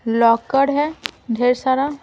है ढेर सारा।